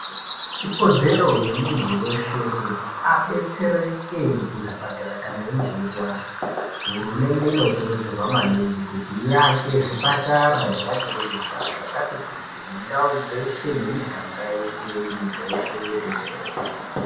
Ikodzero yemuntu weshe Kuti abetsereke kuzvipatara kana einge eirwara. Hurumende inokurudzirwa maningi kuti iake zvipatara nemakirinika zvakati kuti mundau dzeshe nemiganga yeshe nyika yeshe tenderere.